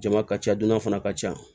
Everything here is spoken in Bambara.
Jama ka ca dunan fana ka ca